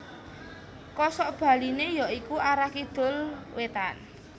Kosokbaliné ya iku arah Kidul Wétan